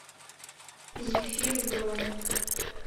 зефир бронь